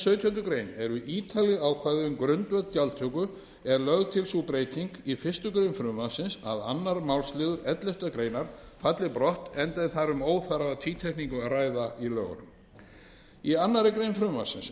sautjándu grein eru ítarleg ákvæði um grundvöll gjaldtöku er lögð til sú breyting í fyrstu grein frumvarpsins að annar málsliður elleftu grein falli brott enda er þar um óþarfa tvítekningu að ræða í lögunum í annarri grein frumvarpsins er